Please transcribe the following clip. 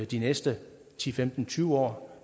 de næste ti femten tyve år